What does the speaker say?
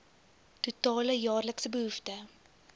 totale jaarlikse behoefte